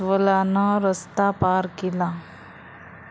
...आणि अस्वलानं रस्ता पार केला